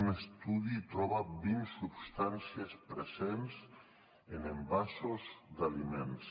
un estudi troba vint substàncies presents en envasos d’aliments